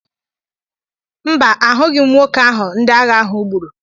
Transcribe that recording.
Mba, ahụghị m nwoke ahụ ndị agha ahụ gburu.